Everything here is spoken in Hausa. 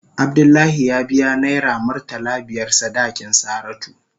Abdullahi ya biya naira murtala biyar sadakin Saratu.